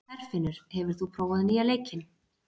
Herfinnur, hefur þú prófað nýja leikinn?